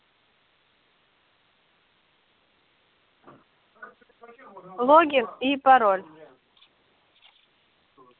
логин и пароль